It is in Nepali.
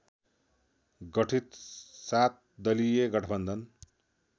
गठित सातदलीय गठवन्धन